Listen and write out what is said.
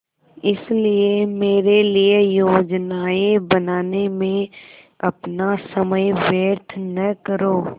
इसलिए मेरे लिए योजनाएँ बनाने में अपना समय व्यर्थ न करो